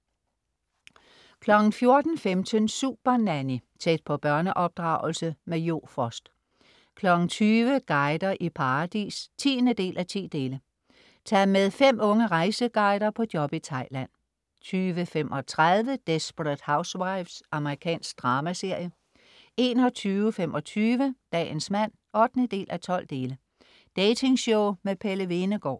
14.15 Supernanny. Tæt på børneopdragelse. Jo Frost 20.00 Guider i paradis 10:10. Tag med fem unge rejseguider på job i Thailand 20.35 Desperate Housewives. Amerikansk dramaserie 21.25 Dagens mand 8:12. Dating-show med Pelle Hvenegaard